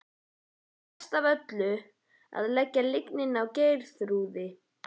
Og verst af öllu að leggja lygina á Geirþrúði.